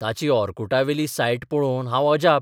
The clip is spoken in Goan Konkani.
ताची ओर्कुटावेली सायट पळोवन हांव अजाप.